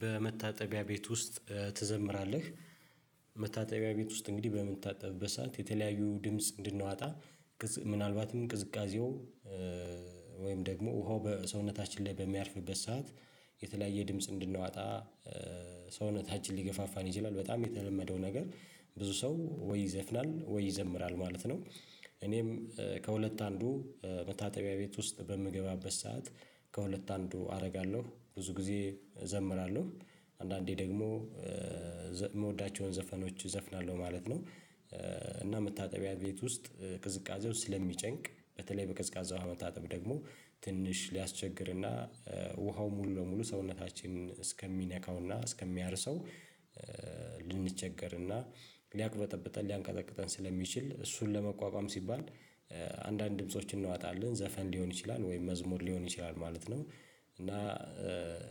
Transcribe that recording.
በመታጠቢያ ቤት ውስጥ ትዘምራለህ? መታጠቢያ ቤት ውስጥ እንግዲህ በምታጠብበት ሰዓት የተለያዩ ድምጽ እንድናወጣ ምናልባትም ቅዝቃዜው ወይም ደግሞ ውሃው በሰውነታችን ላይ በሚያርፍበት ሰዓት የተለያየ ድምጽ እንድናወጣ ሰውነታችን ሊገፋፋን ይችላል። በጣም የተለመደው ነገር ብዙ ሰው ወይ ይዘፍናል ወይ ይዘምራል ማለት ነው። እኔም ከሁለት አንዱ መታጠቢያ ቤት ውስጥ በምገባበት ሰዓት ከሁለት አንዱ አደርጋለሁ ብዙ ጊዜ እዘምራለሁ አንዳንዴ ደግሞ የምወዳቸውን ዘፈኖች እዘፍናለሁ ማለት ነው። እና መታጠቢያ ቤት ውስጥ ቅዝቃዜው ስለሚጨንቅ በተለይ በቀዝቃዛ ውሃ መታጠብ ደግሞ ትንሽ ሊያስቸግርና ውሃው ሙሉ ለሙሉ ሰውነታችን እስከሚነካውና እስከሚያርሰው ልንቸገርና እና ሊያቅበጠብጠን ሊያንቀጠቅጠን ስለሚችል እሱን ለመቋቋም ሲባል አንዳንድ ድምጾች እናወጣለን ዘፈን ሊሆን ይችላል ወይም መዝሙር ሊሆን ይችላል ማለት ነው። እና